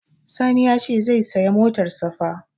Sani ya ce zai saya motar safa